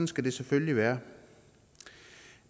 skal det selvfølgelig være